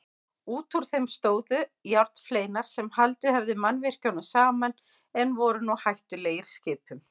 Útúr þeim stóðu járnfleinar sem haldið höfðu mannvirkjunum saman en voru nú hættulegir skipum.